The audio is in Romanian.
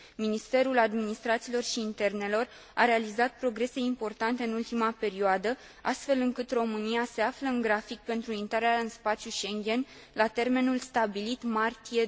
Ministerul Administrației și Internelor a realizat progrese importante în ultima perioadă, astfel încât România se află în grafic pentru intrarea în spațiul Schengen la termenul stabilit, martie